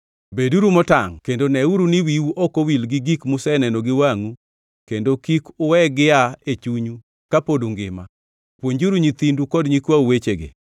Beduru motangʼ kendo neuru ni wiu ok owil gi gik museneno gi wangʼu kendo kik uwegi gia e chunyu ka pod ungima. Puonjuru nyithindu kod nyikwau wechegi.